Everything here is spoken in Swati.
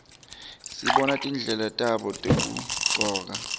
sibona tindlela tabo tekugcoka